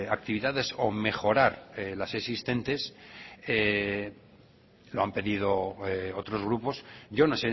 actividades o mejorar las existentes lo han pedido otros grupos yo no